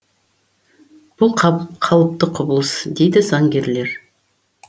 бұл қалыпты құбылыс дейді заңгерлер